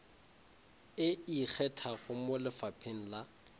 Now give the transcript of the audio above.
e ikgethago mo lefapheng la